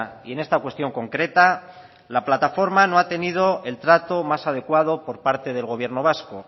y en esta cuestión concreta la plataforma no ha tenido el trato más adecuado por parte del gobierno vasco